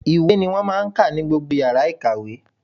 Ìwé ni wọ́n máa ń kọ́ ní yàrá ìkàwé.